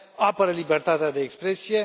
apără libertatea de expresie.